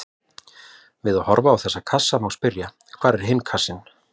Við að horfa á þessa kassa má spyrja: hvar er kassinn?